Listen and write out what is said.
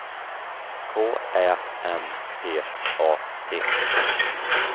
K Ä M P A T